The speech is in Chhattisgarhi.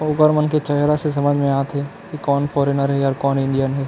ओकर मन के चेहरा से समझ में आ थे की कौन फोर्रीनर हे अउ कौन इंडियन हे ।